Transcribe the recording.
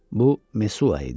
Bu Mesua idi.